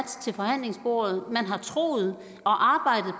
til forhandlingsbordet at man har troet